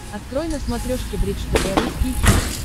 открой на смотрешке бридж тв русский хит